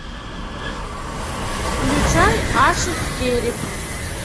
включай ашик кериб